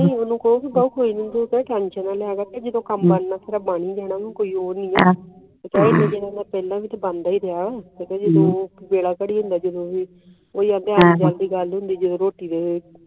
ਕੋਈ ਗੱਲ ਨਹੀਂ ਤੁਸੀ ਉਨਹੂ ਕਹੋ ਤੂੰ ਟੈਨਸ਼ਨ ਨਾ ਲੈ ਜੱਦੜੋਂ ਕਾਮ ਮਨ ਕੋਈ ਓਰ ਨਹੀਂ